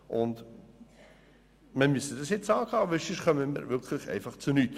Dies müssen wir jetzt angehen, sonst kommen wir nirgends hin.